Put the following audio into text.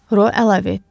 Ro əlavə etdi.